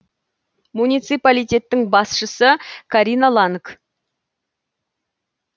муниципалитеттің басшысы карина ланг